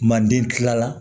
Manden kila la